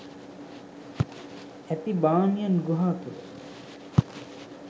ඇති බාමියන් ගුහා තුළ